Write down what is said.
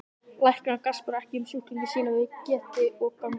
Læknar gaspra ekki um sjúklinga sína við gesti og gangandi.